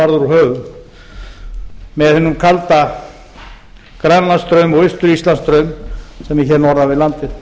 höfum með hinum kalda grænlandsstraum og austur íslandsstraum sem er hér norðan við landið